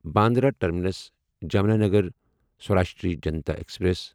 Bandra terminus Jamnagar Saurashtra Janta express